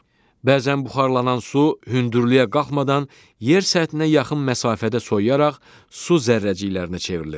Bəzən buxarlanan su hündürlüyə qalxmadan yer səthinə yaxın məsafədə soyuyaraq su zərrəciklərinə çevrilir.